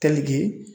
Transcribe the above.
Teliki